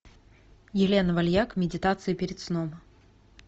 елена вальяк медитации перед сном